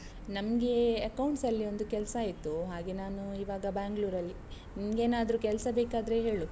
ನಮ್ಗೆ accounts ಅಲ್ಲಿ ಒಂದು ಕೆಲ್ಸ ಆಯ್ತು, ಹಾಗೆ ನಾನು ಈವಾಗ Bangalore ಅಲ್ಲಿ, ನಿಂಗೇನಾದ್ರೂ ಕೆಲ್ಸ ಬೇಕಾದ್ರೆ ಹೇಳು.